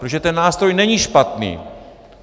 Protože ten nástroj není špatný.